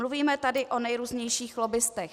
Mluvíme tady o nejrůznějších lobbistech.